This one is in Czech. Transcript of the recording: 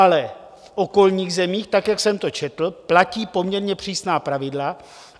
Ale v okolních zemích, tak jak jsem to četl, platí poměrně přísná pravidla.